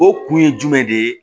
O kun ye jumɛn de ye